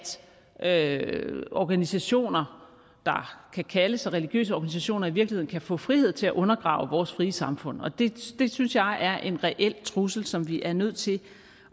at organisationer der kan kalde sig religiøse organisationer i virkeligheden kan få frihed til at undergrave vores frie samfund det synes jeg er en reel trussel som vi er nødt til